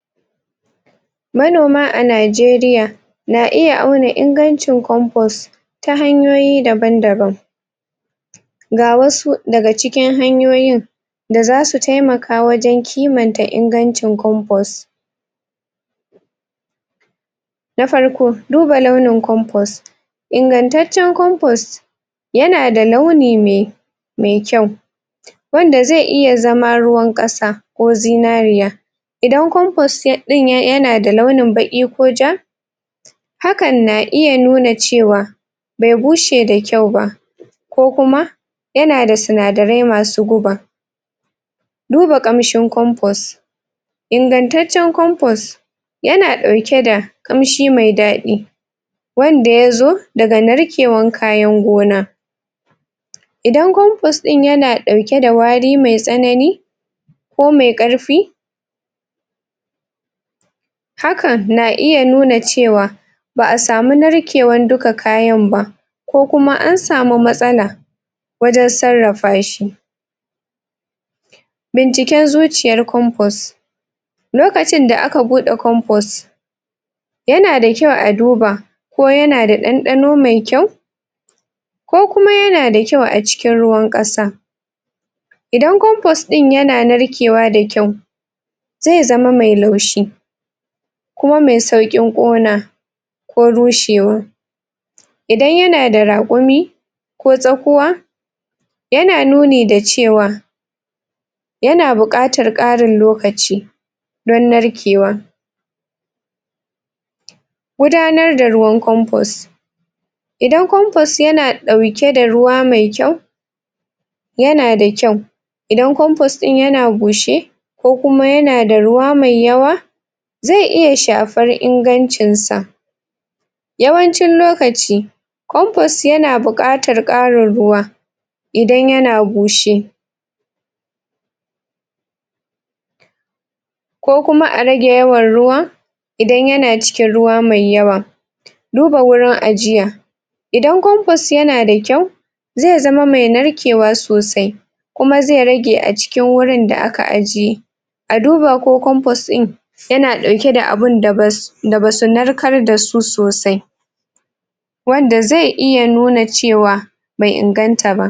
Manoma a Najeriya na iya auna ingancin compost ta hanyoyi daban-daban ga wasu daga cikin hanyoyin da zasu taimaka wajen kimanta ingancin compost na farko, duba launin compost ingantaccen compost yana da launi me me kyau wanda zai iya zama ruwan ƙasa ko zinariya idan compost ɗin yana da launin baƙi ko ja hakan na iya nuna cewa be bushe da kyau ba ko kuma yana da sinadarai masu guba duba ƙamshin compost ingantaccen compost yana ɗauke da ƙamshi mai daɗi wanda ya zo daga narkewan kayan gona idan compost ɗin yana ɗauke da wari mai tsanani ko mai ƙarfi hakan na iya nuna cewa ba'a samu narkewan duka kayan ba ko kuma an samu matsala wajen sarrafa shi binciken zuciyar compost lokacin da aka buɗe compost yana da kyau a duba ko yana da ɗanɗano mai kyau ko kuma yana da kyau a cikin ruwan ƙasa idan compost ɗin yana narkewa da kyau zai zama mai laushi kuma mai sauƙin ƙona ko rushewa idan yana da raƙumi ko tsakuwa yana nuni da cewa yana buƙatar ƙarin lokaci dan narkewa gudanar da ruwan compost idan compost yana ɗauke da ruwa mai kyau yana da kyau idan compost ɗin yana bushe ko kuma yana da ruwa mai yawa zai iya shafar ingancin sa yawancin lokaci compost yana buƙatar ƙarin ruwa idan yana bushe ko kuma a rage yawan ruwa idan yana cikiin ruwa mai yawa duba wurin ajiya idan compost yana da kyau zai zama mai narkewa sosai kuma zai rage a cikin wurin da aka ajiye a duba ko compost ɗin yana ɗauke da abinda bas da basu narkar da su sosai wanda zai iya nuna cewa bai inganta ba.